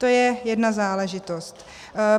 To je jedna záležitost.